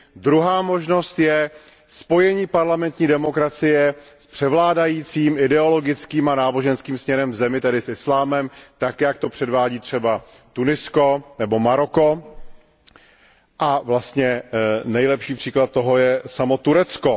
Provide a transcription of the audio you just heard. druhá možnost je spojení parlamentní demokracie s převládajícím ideologickým a náboženským směrem v zemi, tedy s islámem tak, jak to předvádí třeba Tunisko nebo Maroko, vlastně nejlepší příklad toho je samo Turecko.